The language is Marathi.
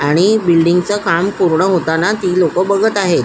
आणि बिल्डिंग च काम पुर्ण होताना ती लोक बघत आहेत.